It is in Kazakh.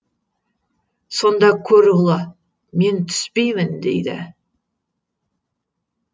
сонда көрұғылы мен түспеймін дейді